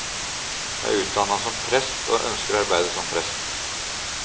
Jeg er utdannet som prest, og ønsker å arbeide som prest.